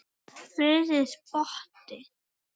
Friðrik brosti.